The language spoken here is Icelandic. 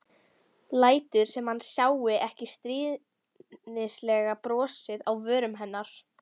Lætur sem hann sjái ekki stríðnislegt brosið á vörum hennar.